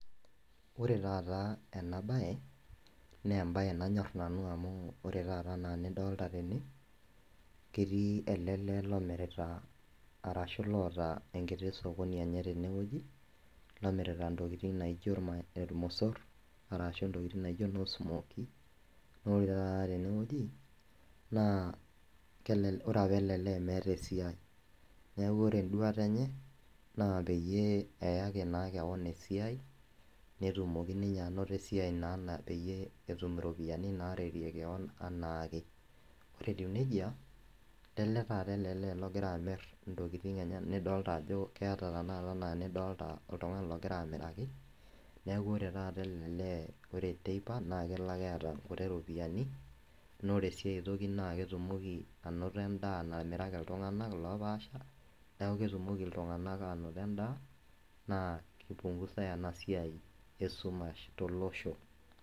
Ore taata ena baye naa embaye nanyorr nanu amu ore taata anaa nidolta tene ketii ele lee lomirita arashu loota enkiti sokoni enye tenewoji lomirita intokiting naijo irmosorr arashu intokiting naijo inosmoki nore taata tenewoji naa kelele ore apa ele lee meeta esiai neku ore enduata enye naa peyie eyaki naa kewon esiai netumoki ninye anoto esiai naa peyie etum iropiyiani naretie kewon enaake ore etiu nejia lele taata ele lee logira amirr intokiting enye nidolta ajo keeta tenakata enaa nidolta oltung'ani logira amiraki neku ore taata ele lee ore teipa naa kelo ake eeta nkuti ropiyiani nore sii aetoki naa ketumoki anoto endaa namiraki iltung'anak lopaasha neku ketumoki iltung'anak anoto endaa naa kipungusae ena siai esumash tolosho.